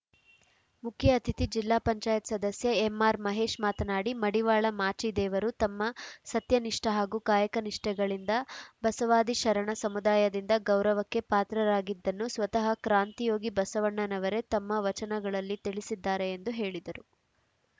ಮುಖ್ಯ ಅತಿಥಿ ಜಿಲ್ಲಾ ಪಂಚಾಯತ್ ಸದಸ್ಯ ಎಂಆರ್‌ ಮಹೇಶ್‌ ಮಾತನಾಡಿ ಮಡಿವಾಳ ಮಾಚಿದೇವರು ತಮ್ಮ ಸತ್ಯನಿಷ್ಠ ಹಾಗೂ ಕಾಯಕ ನಿಷ್ಠೆಗಳಿಂದ ಬಸವಾದಿಶರಣ ಸಮುದಾಯದಿಂದ ಗೌರವಕ್ಕೆ ಪಾತ್ರರಾಗಿದ್ದನ್ನು ಸ್ವತಃ ಕ್ರಾಂತಿಯೋಗಿ ಬಸವಣ್ಣನವರೆ ತಮ್ಮ ವಚನಗಳಲ್ಲಿ ತಿಳಿಸಿದ್ದಾರೆ ಎಂದು ಹೇಳಿದರು